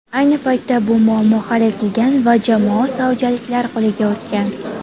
Ayni paytda bu muammo hal etilgan va jamoa saudiyaliklar qo‘liga o‘tgan.